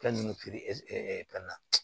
Fɛn ninnu feere fɛn na